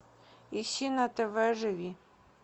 ищи на тв живи